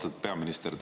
Austatud peaminister!